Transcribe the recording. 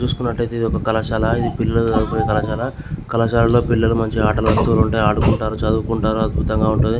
చూసుకునట్టయితే ఇది ఒక కళాశాల ఇది పిల్లలు చదువుకునే కళాశాల కళాశాలలో పిల్లలు మంచిగా ఆటలు ఆడుతూ ఆడుకుంటూ ఉంటారు చదువుకుంటారు అద్బుతంగా ఉంటది.